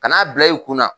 Kan'a bila i kunna